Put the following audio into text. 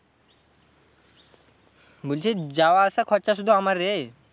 বলছি যাওয়া আসা খরচা শুধু আমার রে।